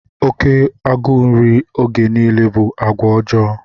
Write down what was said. Oke agụụ nri oge niile bụ àgwà ọjọọ.